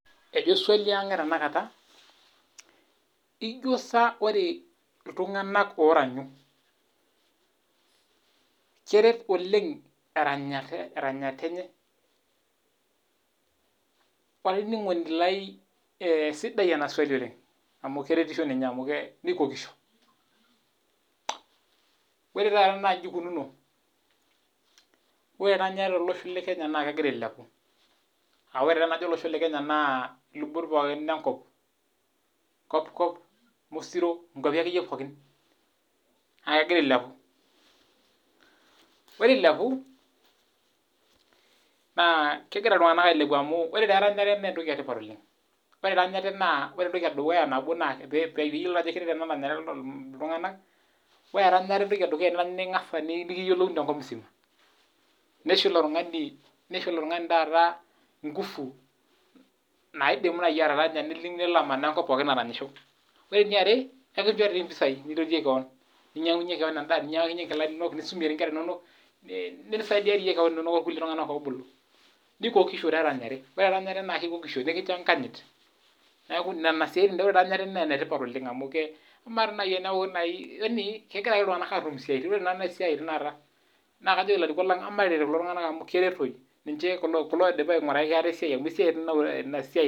Ejo swali Ang ee tanakata ejio saa ore iltung'ana oranyu keret oleng eranyata enye olainining'oni lai sidai ena swali oleng amu keretisho ninye nikokisho ore taata naa eji eikunono ore eranyare too losho lee Kenya naa kegira ailepu AA ore taa tenajo olosho le Kenya naa elubot pookin enkop kopikop mosiri nkuapi akeyie pookin naa kegira ailepu ore eilepu naa ore eranyare naa entoki etipat oleng ore eduya nabo piyiolou Ajo keret eranyare iltung'ana ore entoki eduya tenirany ningas nikiyiolouni tenkop musima neisho elo tung'ani nguvu taata naidim ataranya Neman enkop aranyisho ore eniare ekinjore doi mpishai nintotikie keon ninyang'aki keona endaa nintotie enkera enono nilakinyie sukuul[cs nisaidia doi kewon oltung'ana obulu nikokisho doi nikinjo enkanyit neeku ore eranyare naa enetipat oleng amu emaa naaji kegira ake iltung'ana atum easiati ore taata esiai taata naa kajoki elarikok lang mataret kulo tung'ana amu kertoi ninche kulo oidipa ainguraki ataa esiai